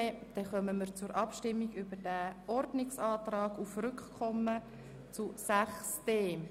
Somit kommen wir zur Abstimmung über den Ordnungsantrag auf Rückkommen auf den Themenblock 6.d.